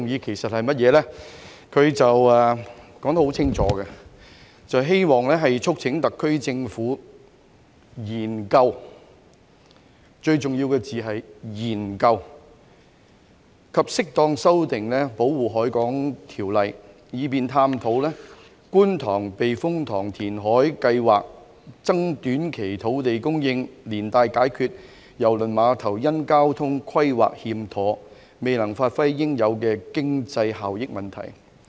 他說得很清楚，"促請特區政府研究"——最重要的字眼是研究——"及適當修訂《保護海港條例》，以便探討觀塘避風塘填海計劃，增短期土地供應，連帶解決郵輪碼頭因交通規劃欠妥，未能發揮應有經濟效益問題"。